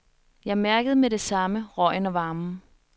Jeg mærkede med det samme røgen og varmen.